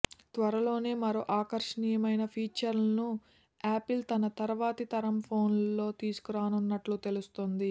త్వరలోనే మరో ఆకర్షణీయమైన ఫీచర్ను యాపిల్ తన తర్వాతి తరం ఫోన్లలో తీసుకురానున్నట్లు తెలుస్తోంది